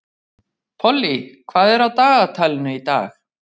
Pollý, hvað er á dagatalinu í dag?